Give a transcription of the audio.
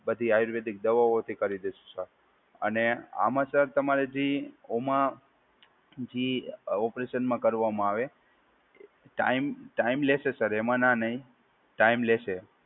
બધી આયુર્વેદિક દવાઓથી કરી દઇશું સર અને આમાં સર તમારે જે ઓમાં જે ઓપરેશનમાં કરવામાં આવે ટાઈમ ટાઈમ લેશે સર એમાં ના નહીં ટાઈમ લેશે.